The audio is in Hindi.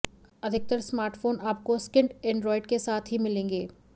अधिकतर स्मार्टफोन आपको स्किन्ड एंड्रायड के साथ ही मिलेंगे